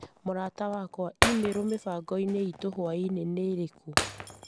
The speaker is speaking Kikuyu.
Mũrata wakwa i-mīrū mĩbango iitũ hwaĩinĩ nĩ ĩrĩkũ